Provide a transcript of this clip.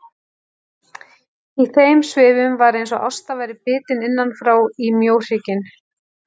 Í þeim svifum var eins og Ásta væri bitin innanfrá í mjóhrygginn.